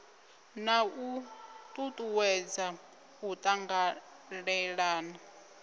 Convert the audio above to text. na u tutuwedza u tanganelana